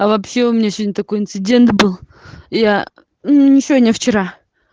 а вообще у меня сегодня такой инцидент был я не сегодня вчера